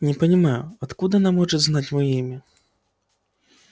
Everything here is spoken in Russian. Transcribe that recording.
не понимаю откуда она может знать моё имя